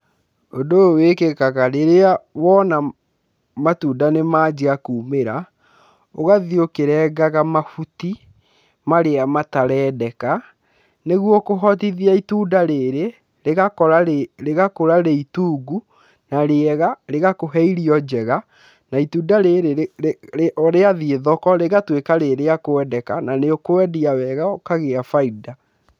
Ũndũ ũyũ wĩkĩkaga rĩrĩa wona matunda nĩ manjia kumĩra, ũgathiĩ ũkĩrengaga mahuti marĩa matarendeka, nĩguo kũhotithia itunda rĩrĩ rĩgakũra rĩ itungu na rĩega, rĩgakũhe irio njega na itunda rĩrĩ rĩathiĩ thoko rĩgatuĩka rĩ rĩa kwendeka na nĩ ũkwendia wega, ũkagĩa bainda.